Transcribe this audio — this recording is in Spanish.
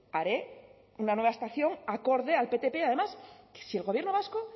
haré una nueva estación acorde al ptp además si el gobierno vasco